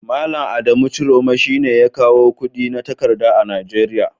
Malam Adamu ciroma shine ya kawo kudi na takarda a Najeria.